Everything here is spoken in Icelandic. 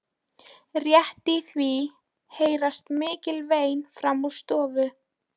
Rétt í því heyrast mikil vein framan úr stofu.